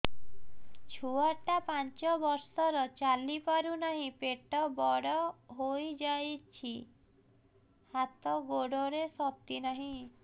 ଛୁଆଟା ପାଞ୍ଚ ବର୍ଷର ଚାଲି ପାରୁ ନାହି ପେଟ ବଡ଼ ହୋଇ ଯାଇଛି ହାତ ଗୋଡ଼ରେ ଶକ୍ତି ନାହିଁ